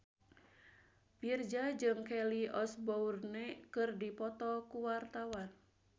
Virzha jeung Kelly Osbourne keur dipoto ku wartawan